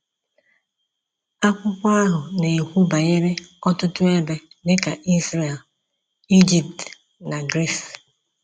Akwụkwọ ahụ na-ekwu banyere ọtụtụ ebe, dị ka Izrel, Ijipt, na Gris.